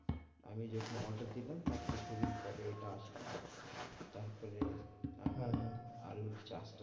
আমি যখন order দিলাম তার কিছুদিন পরে এইটা আসলো তারপরে হ্যাঁ, হ্যাঁ আলুর চাষটা